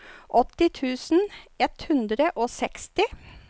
åtti tusen ett hundre og seksti